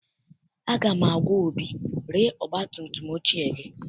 Aga m agwa Obi, ree ọgbatumtum ochie gị!